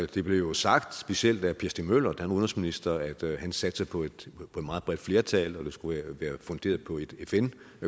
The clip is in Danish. det blev jo sagt specielt af per stig møller da var udenrigsminister at han satsede på et meget bredt flertal og at det skulle være funderet på et fn